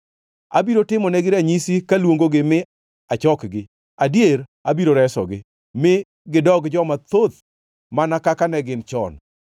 Abiro timonegi ranyisi kaluongogi mi achokgi. Adier, abiro resogi; mi gidog joma thoth mana kaka ne gin chon.